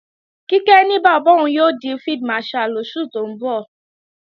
Kíkẹ́ ní bàbá òun yóò di Field Marshal lóṣù tó ń bọ̀